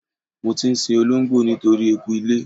Mo ti ń sin olóńgbò nítorí eku ilé.